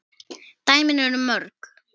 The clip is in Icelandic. Dæmin eru mörg.